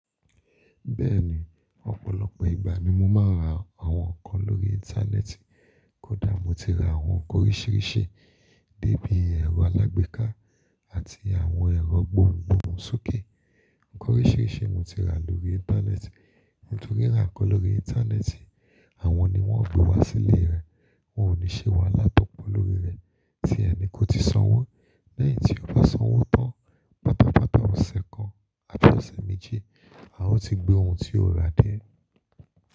Bẹ́ẹ̀ni, ọ̀pọ̀lọpọ̀ ìgbà ni mo máa ń ra àwọn nǹkan lórí Íńtánẹ́ẹ̀tì. Kódà mo ti ra àwọn nǹkan oríṣìíríṣìí débi ẹ̀rọ alágbèéká àti àwọn ẹ̀rọ gbohùngbohùn sókè. Ǹkan oríṣìíríṣìí mo ti rà lórí Íńtánẹ́ẹ̀tì. Nítorí ra nǹkan lórí Íńtánẹ́ẹ̀tì, àwọn ni wọ́n ó gbe wá sílé rẹ, ò ní ṣe wàhala tópọ̀ lórí rẹ tíẹ ni kò ti sanwó. Lẹ́yìn tí o bá sanwó tán, pàtàpàtà ọ̀sẹ̀ kan àti ọ̀sẹ̀ méje, a ó ti gbé ohun tí o ra dé.